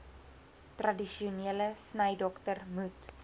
tradisionele snydokter moet